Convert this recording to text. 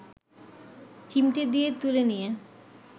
চিমটে দিয়ে তুলে নিয়ে